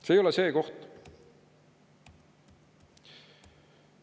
See ei ole see koht!